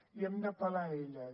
i hem d’apel·lar a elles